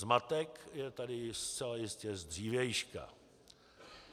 Zmatek je tady zcela jistě z dřívějška.